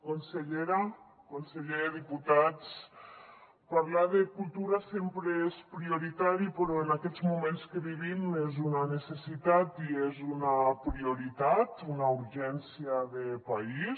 consellera conseller diputats parlar de cultura sempre és prioritari però en aquests moments que vivim és una necessitat i és una prioritat una urgència de país